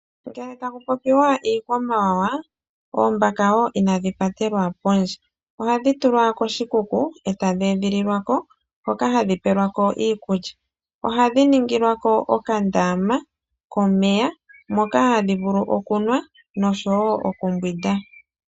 Ngele ta ku popiwa iikwamawawa oombaka wo inadhi patelwa pondje, ohadhi tulwa koshikuku eta dhi edhililwa ko ho ka hadhi pelwa ko iikulya , oha dhi ningilwako oka ndaama komeya moka hadhivulu okunwa, noshowo okumbwinda.